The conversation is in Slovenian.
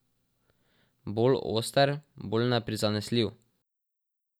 Bolj oster, bolj neprizanesljiv.